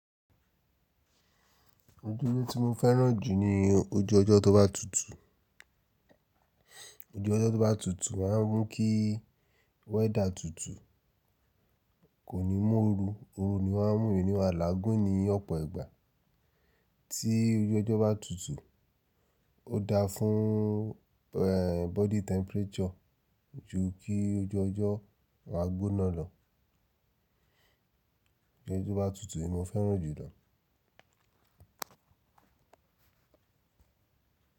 Ojúmọ́ tí mo fẹ́ràn jù ni ojú ọjọ́ tó bá tutù. Ojú ọjọ́ tó bá tutù máa ń mú kí weather tutù, kò ní mú oru, oru ni wan mú mi nii máa lágún ni ọ̀pọ̀ ìgbà. Tí ojú ọjọ́ bá tutù ó dáa fún ehn body temperature jù kí ojú ọjọ́ wá gbóná lọ. Ojú tó bá tutù ni mo fẹ́ràn jùlọ.